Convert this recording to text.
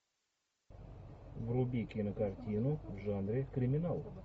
вруби кинокартину в жанре криминал